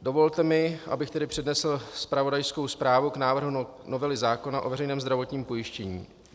Dovolte mi, abych tedy přednesl zpravodajskou zprávu k návrhu novely zákona o veřejném zdravotním pojištění.